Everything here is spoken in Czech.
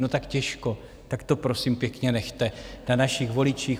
No tak těžko, tak to, prosím pěkně, nechte na našich voličích.